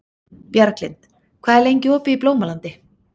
Bjarglind, hvað er lengi opið í Blómalandi?